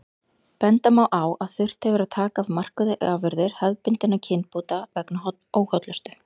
Benda má á að þurft hefur að taka af markaði afurðir hefðbundinna kynbóta vegna óhollustu.